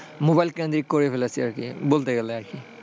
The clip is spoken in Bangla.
mobile ক্রেনদিক করে ফেলেছি আর কি বলতে গেলে আর কি,